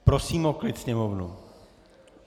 Prosím o klid sněmovnu.